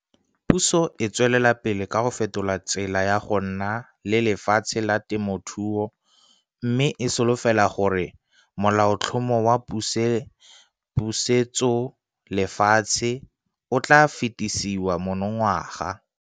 Puso e tswelela pele ka go fetola tsela ya go nna le lefatshe la temothuo mme e solofela gore Molaotlhomo wa Pusetsolefatshe o tla fetisiwa monongwaga.